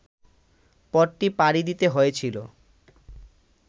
পথটি পাড়ি দিতে হয়েছিল